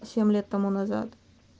семь лет тому назад